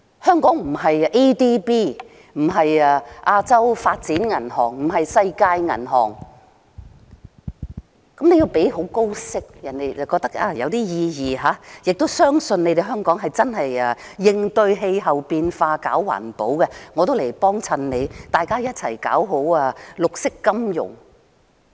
香港不是亞洲開發銀行，又不是世界銀行，你要付很高利息，人家才覺得有意義，亦要別人相信香港真的為應對氣候變化而搞環保，人家才會願意光顧，一起搞好綠色金融。